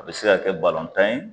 A bi se ka kɛ tan ye